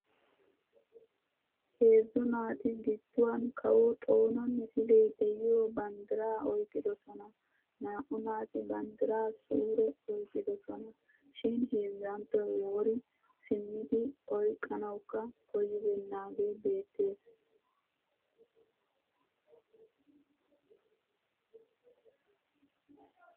Heezzu naati gidduwan kawo xoona misilee de'iyo banddiraa oyqqidosona. Naa'u naati banddiraa suure oyqqidosona shin heezzanttoy wori simmidi oyqqanawukka koyyibeennaagee beettes.